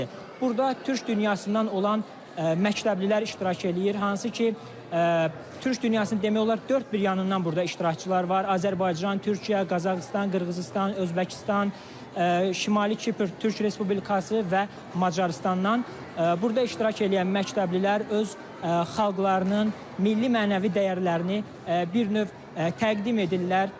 Burda Türk dünyasından olan məktəblilər iştirak eləyir, hansı ki, Türk dünyasının demək olar dörd bir yanından burda iştirakçılar var, Azərbaycan, Türkiyə, Qazaxıstan, Qırğızıstan, Özbəkistan, Şimali Kipr Türk Respublikası və Macarıstandan burda iştirak eləyən məktəblilər öz xalqlarının milli mənəvi dəyərlərini bir növ təqdim edirlər.